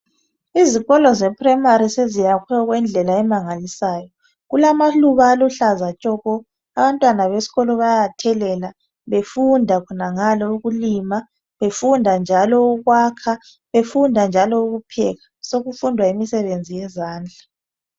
Izikolo zeprimary, seziyakhwe okwendlela emangalisayo. Kulamaluba , aluhlaza tshoko! Abantwana besikolo bayawathelela. Befunda khonangale ukulima. Befunda njalo ukupheka. Sekufundwa njalo, imisebenzi yezandla.